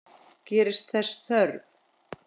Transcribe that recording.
Gerist þess þörf.